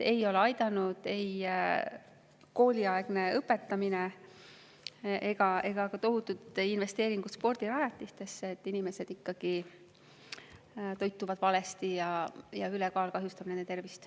Ei ole aidanud ei kooliaegne õpetamine ega tohutud investeeringud spordirajatistesse, inimesed toituvad ikkagi valesti ja ülekaal kahjustab nende tervist.